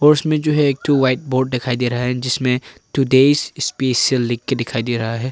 उसमें में जो है एक ठो व्हाइट बोर्ड दिखाई दे रहा है जिसमें टूडेज स्पेशल लिख के दिखाई दे रहा है।